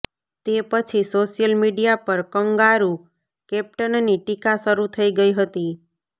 તે પછી social media પર કંગારુ કેપ્ટનની ટિકા શરૂ થઈ ગઈ હતી